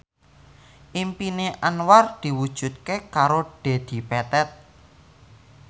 impine Anwar diwujudke karo Dedi Petet